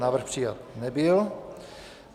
Návrh přijat nebyl.